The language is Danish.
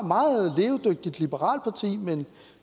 meget levedygtigt liberalt parti med en